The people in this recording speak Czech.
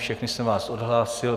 Všechny jsem vás odhlásil.